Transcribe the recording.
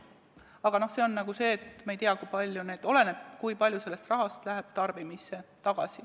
Aga see oleneb sellest, kui palju sellest rahast läheb tarbimisse tagasi.